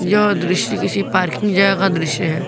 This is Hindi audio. यह दृश्य किसी पार्किंग जगह का दृश्य है।